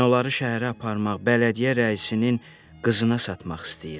Mən onları şəhərə aparmaq, bələdiyyə rəisinin qızına satmaq istəyirəm.